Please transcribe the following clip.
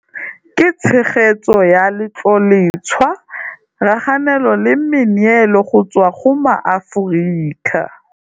Ka tshegetso ya Letloletshwa raganelo le meneelo go tswa go maAforika.